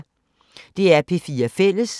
DR P4 Fælles